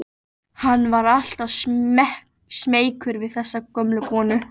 Hann var alltaf smeykur við þessa gömlu konu.